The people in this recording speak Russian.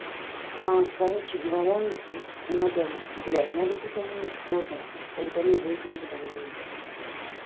короче говоря надо блять надо пить аминокислоты тогда не будет ангедонии